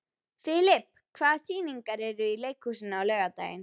Filip, hvaða sýningar eru í leikhúsinu á laugardaginn?